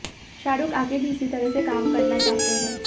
शाहरुख आगे भी इसी तरह से काम करना चाहते हैं